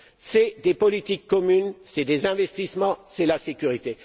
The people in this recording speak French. Ce sont des politiques communes, ce sont des investissements, c'est la sécurité.